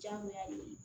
Diyagoya de